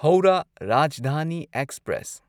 Howrah Rajdhani express